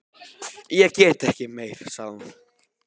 Ég get ekki meir, sagði hún.